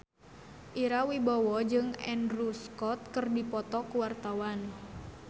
Ira Wibowo jeung Andrew Scott keur dipoto ku wartawan